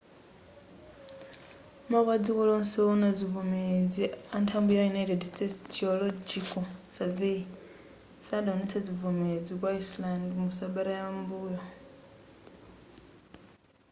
mapu adziko lonse wowona zivomerezi anthambi ya united states geological survey sadawonetse zivomerezi ku iceland mu sabata yam'mbuyo